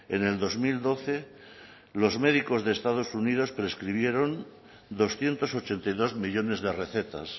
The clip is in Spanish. en el dos mil doce los médicos de estados unidos prescribieron doscientos ochenta y dos millónes de recetas